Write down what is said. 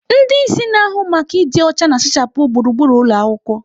Ndị isi na-ahụ maka ịdị ọcha na-asachapụ gburugburu ụlọ akwụkwọ.